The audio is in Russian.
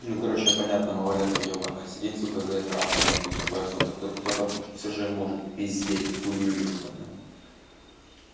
ну короче понятно малолетка ебанная сидеть сука за экраном нахуй с только все же может пиздеть хуйню ебана